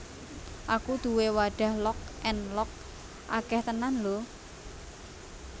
Aku duwe wadah Lock and Lock akeh tenan lho